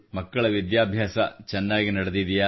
ಮಕ್ಕಳ ವಿದ್ಯಾಭ್ಯಾಸ ಚೆನ್ನಾಗಿ ನಡೆದಿದೆಯೇ